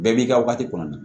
Bɛɛ b'i ka wagati kɔnɔna na